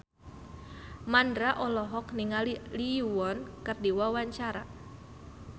Mandra olohok ningali Lee Yo Won keur diwawancara